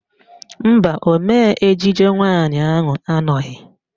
Mba, ọmee ejije nwaanyị ahụ anọghị